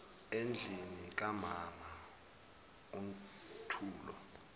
endlini kamama untulo